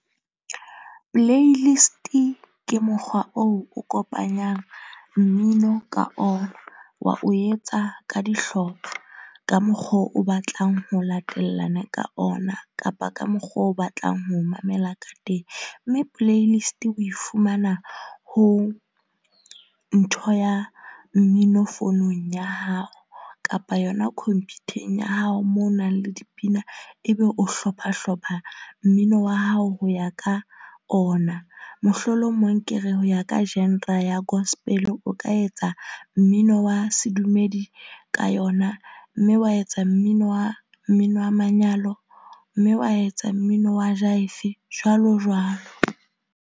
Playlist-i ke mokgwa oo o kopanyang mmino ka ona. Wa o etsa ka dihlopha ka mokgo o batlang ho latellana ka ona kapa ka mokgo o batlang ho mamela ka teng. Mme playlist o e fumana ho ntho ya mmino founung ya hao kapa yona khomphutheng ya hao moo ho nang le dipina. Ebe o hlopha hlopha mmino wa hao ho ya ka ona mohlolomong ke re, ho ya ka genre ya gospel, o ka etsa mmino wa sedumedi ka yona. Mme wa etsa mmino wa mmino wa manyalo mme wa etsa mmino wa jaife jwalo jwalo.